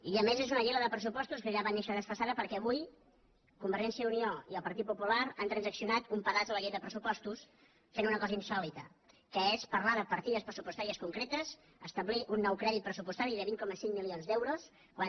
i a més és una llei la de pressupostos que ja va néixer desfasada perquè avui convergència i unió i el partit popular han transaccionat un pedaç a la llei de pressupostos fent una cosa insòlita que és parlar de partides pressupostàries concretes establir un nou crèdit pressupostari de vint coma cinc milions d’euros quan